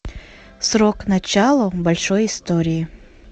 срок начало большой истории